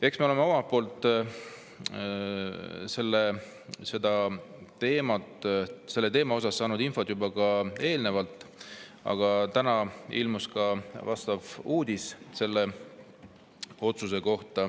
Eks me ole selle teema kohta saanud infot ka eelnevalt, aga täna ilmus uudis selle otsuse kohta.